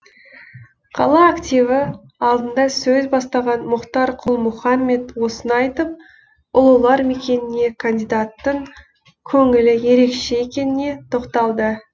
қала активі алдында сөз бастаған мұхтар құл мұхаммед осыны айтып ұлылар мекеніне кандидаттың көңілі ерекше екеніне тоқталды